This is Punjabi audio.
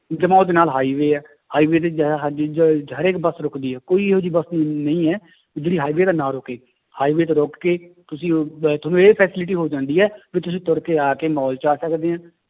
ਜਮਾਂ ਉਹਦੇ ਨਾਲ highway ਹੈ highway ਤੇ ਜ਼ਿਆਦਾ ਹਰੇਕ ਬੱਸ ਰੁੱਕਦੀ ਹੈ ਕੋਈ ਇਹੋ ਜਿਹੀ ਬਸ ਨਹੀਂ ਹੈ ਵੀ ਜਿਹੜੀ highway ਤੇ ਨਾ ਰੁੱਕੇ highway ਤੇ ਰੁੱਕ ਕੇ ਤੁਸੀਂ ਤੁਹਾਨੂੰ ਇਹ facility ਹੋ ਜਾਂਦੀ ਹੈ ਵੀ ਤੁਸੀਂ ਤੁਰ ਕੇ ਆ ਮਾਲ 'ਚ ਆ ਸਕਦੇ ਹੈ